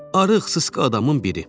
Arıq, sıska adamın biri.